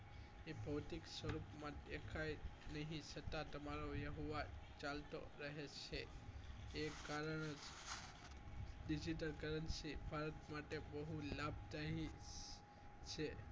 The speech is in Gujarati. એ ભૌતિક સ્વરૂપમાં દેખાય નહીં પરંતુ તમારો વહેવાર ચાલતો રહે છે તે કારણે digital currency ભારત માટે બહુ લાભદાય છે